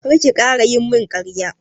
Kar ki ƙara yi mun ƙarya!